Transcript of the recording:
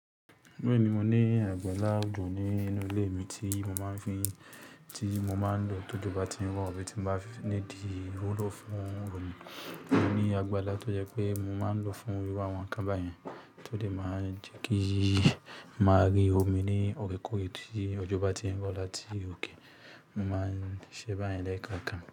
Lóọ̀ní mo ní àgbàlá ojò ní inú ilé mi tí mo máa ń fi, tí mo máa ń lò tójọ ba tí ń rọ̀, abí tí n bá need iwulo fún omi. Mo ní àgbàlá tó jẹ́ pé mo máa ń lò fún iru àwọn nkan bayẹn, tó dè máa n jẹ́ kí n máa rí omi ní òorekoòre tí ọjọ́ bá ti ń rọ̀ láti òkè. Mo máa ń ṣe báyen lẹ́ẹ̀kọ̀ọ̀kan.